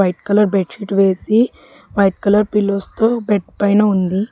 White colour bedsheet వేసి white colour pillows తో bed పైన ఉంది.